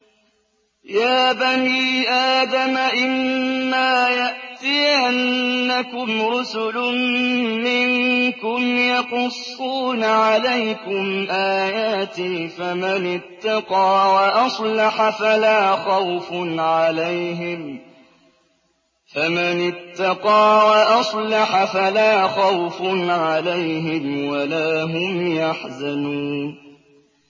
يَا بَنِي آدَمَ إِمَّا يَأْتِيَنَّكُمْ رُسُلٌ مِّنكُمْ يَقُصُّونَ عَلَيْكُمْ آيَاتِي ۙ فَمَنِ اتَّقَىٰ وَأَصْلَحَ فَلَا خَوْفٌ عَلَيْهِمْ وَلَا هُمْ يَحْزَنُونَ